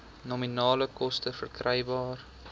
nominale koste verkrygbaar